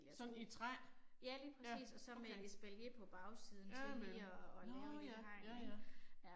Sådan i træ? Ja, okay, ja ja, nåh ja, ja ja